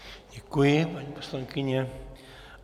Děkuji, paní poslankyně.